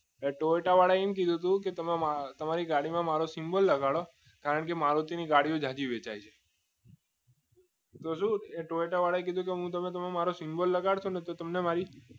એ Toyota વાળા એમ કીધું હતું કે તમે તમારી ગાડીમાં મારો સિમ્બોલ લગાવો કારણ કે મારુતિ ની ગાડી વેચાય છે તો જોયું કે ટોયોટા વારા એવું કીધું તમે મારો સિમ્બોલ લગાવશો ને તો તમને મારી